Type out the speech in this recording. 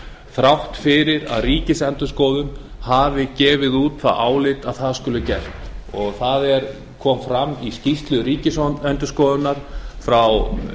þrátt fyrir að ríkisendurskoðun hafi gefið út það álit að það skuli gert það kom fram í skýrslu ríkisendurskoðunar frá